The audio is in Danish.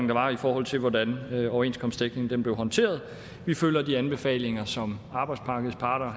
var i forhold til hvordan overenskomstdækningen blev håndteret vi følger de anbefalinger som arbejdsmarkedets parter